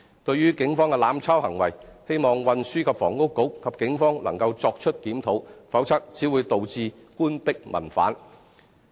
對於警方的"濫抄"行為，希望運輸及房屋局和警方能夠作出檢討，否則只會導致官逼民反。